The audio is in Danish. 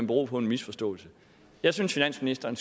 bero på en misforståelse jeg synes finansministeren